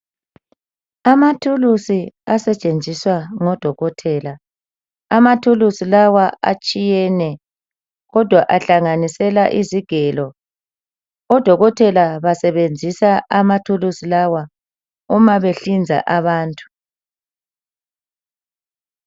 Amathuluzi asetshenziswa ngodokotela. Amathuluzi lawa atshiyene, kodwa ahlanganisela izigelo. Odokotela basebenzisa amathuluzi lawa uma behlinza abantu.